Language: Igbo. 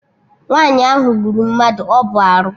Nwaanyi ahụ gburu mmadụ, ọ bụ arụ